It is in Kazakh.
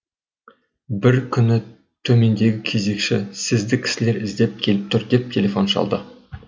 бір күні төмендегі кезекші сізді кісілер іздеп келіп тұр деп телефон шалды